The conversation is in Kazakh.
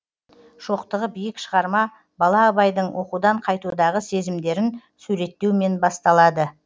шоқтығы биік шығарма бала абайдың оқудан қайтудағы сезімдерін суреттеумен басталады